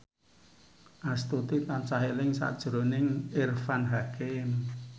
Astuti tansah eling sakjroning Irfan Hakim